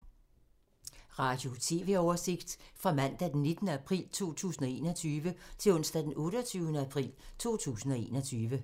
Radio/TV oversigt fra mandag d. 19. april 2021 til onsdag d. 28. april 2021